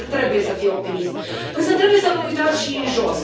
Un lider trebuie să fie optimist, însă trebuie să vă uitați și în jos.